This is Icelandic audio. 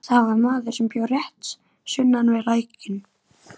Það var maður, sem bjó rétt sunnan við lækinn